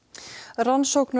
rannsóknarnefnd